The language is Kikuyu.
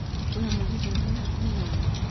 wĩha mũgithi ũrĩa wĩ hakũhĩ naniĩ